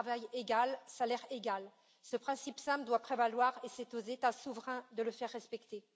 À travail égal, salaire égal ce principe simple doit prévaloir et c'est aux États souverains de le faire respecter.